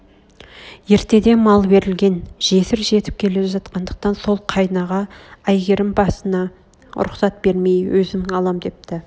ертеде мал берлген жесір жетіп келе жатқандықтан сол қайынаға әйгерім басына рұхсат бермей өзім алам депті